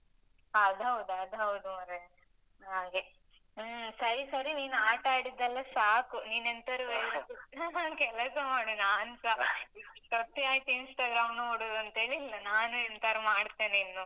ಅದ್ ಹೌದ್, ಅದ್ ಹೌದು ಮರ್ರೆ. ಹಾಗೆ, ಹ್ಮ್ ಸರಿ ಸರಿ ನೀನ್ ಆಟ ಆಡಿದ್ದೆಲ್ಲ ಸಾಕು ನೀನ್ ಎಂತಾರು ಕೆಲಸ ಮಾಡು ನಾನ್ಸ Instagram ನೋಡುದ್ ಅಂತೇಳಿ ಇಲ್ಲ ನಾನ್ ಎಂತಾರು ಮಾಡ್ತೇನೆ ಇನ್ನು